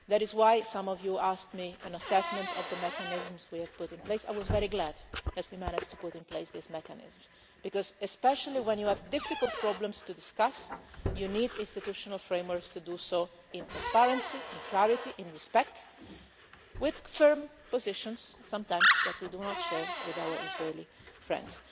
That is why when some of you asked me for an assessment of the mechanisms we have put in place, I was very glad that we managed to put in place these mechanisms because, especially when you have difficult problems to discuss, you need institutional frameworks to do so in transparency, in clarity, in respect and with firm positions which sometimes we do not share with our Israeli friends.